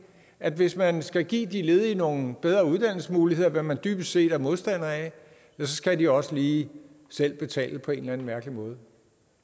at hvis man skal give de ledige nogle bedre uddannelsesmuligheder hvad man dybest set er modstander af så skal de også lige selv betale på en eller anden mærkelig måde